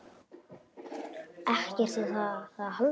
EKKERT Á ÞÉR AÐ HALDA!